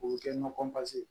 O bɛ kɛ ɲɔgɔn